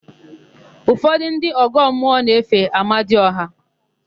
Ụfọdụ ndị ọgọmmụọ na-efe Amadiọha.